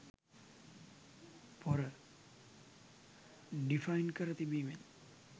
"පොර" ඩිෆයින් කර තිබීමෙන්